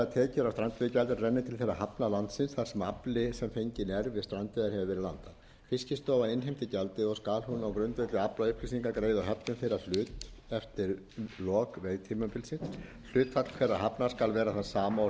hefur verið landað fiskistofu innheimtir gjaldið og skal hún á grundvelli aflaupplýsinga greiða höfnum þeirra hlut eftir lok veiðitímabilsins hlutfall þeirra hafna skal vera það sama og